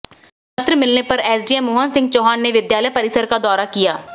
पत्र मिलने पर एसडीएम मोहन सिंह चौहान ने विद्यालय परिसर का दौरा किया